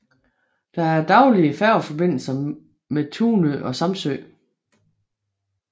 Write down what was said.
Der er daglige færgeforbindelser med Tunø og Samsø